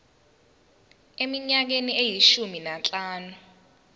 eminyakeni eyishumi nanhlanu